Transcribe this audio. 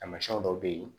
Taamasiyɛnw dɔw bɛ yen